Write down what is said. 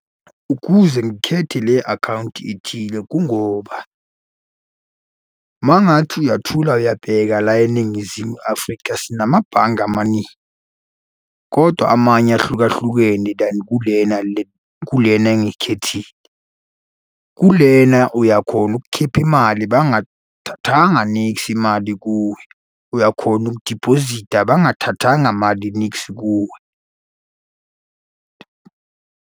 Ukuze ngikhethe le akhawunti ethile, kungoba uma ungathi uyathula uyabheka la eNingizimu Afrika, sinamabhange amaningi, kodwa amanye ahlukahlukene than kulena le kulena engiyikhethile. Kulena uyakhona ukukhipha imali bangathathanga niksi imali kuwe. Uyakhona ukudiphozitha bangathathanga mali niksi kuwe.